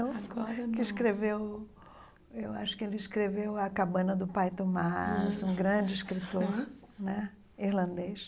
que escreveu eu Acho que ele escreveu A Cabana do Pai Tomás, ah um grande escritor né irlandês.